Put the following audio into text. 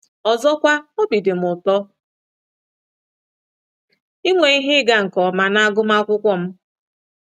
Ọzọkwa, obi dị m ụtọ inwe ihe ịga nke ọma n’agụmakwụkwọ m.